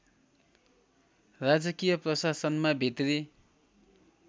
राजकीय प्रशासनमा भित्री